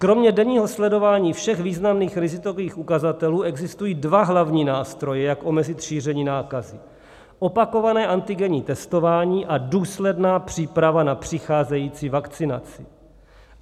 Kromě denního sledování všech významných rizikových ukazatelů existují dva hlavní nástroje, jak omezit šíření nákazy: Opakované antigenní testování a důsledná příprava na přicházející vakcinaci.